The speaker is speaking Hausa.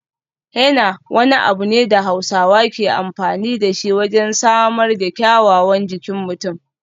Henna wani abu ne da Hausawa ke amfani da shi wajen samar da kyawawan jikin mutum.